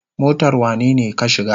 Motar wanene ka shiga?